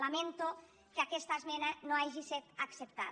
lamento que aquesta esmena no hagi set acceptada